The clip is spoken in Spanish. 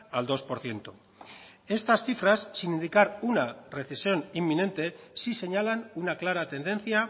al dos por ciento estas cifras sin indicar una recesión inminente sí señalan una clara tendencia